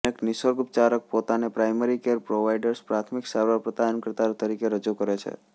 અનેક નિસર્ગોપચારકો પોતાને પ્રાઇમરી કેર પ્રોવાઇડર્સ પ્રાથમિક સારવાર પ્રદાનકર્તા તરીકે રજૂ કરે છે